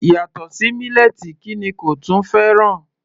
Yàtọ̀ sí mílẹ́ẹ̀tì kí ni kò tún fẹ́ràn?